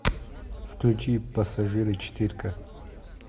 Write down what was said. включи пассажиры четыре ка